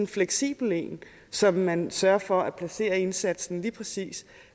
fleksibel en så man sørger for at placere indsatsen lige præcis